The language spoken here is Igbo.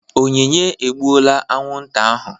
Onyinye egbuola aṅụ nta ahụ.